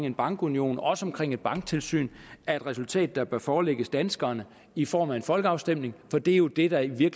en bankunion og et banktilsyn er et resultat der bør forelægges danskerne i form af en folkeafstemning for det er jo det der i